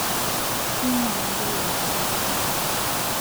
kiinyal ederoni itokitin